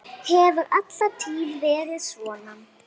Hefur alla tíð verið svona.